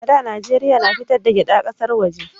A da Najeriya na fitar da gyada ƙasar waje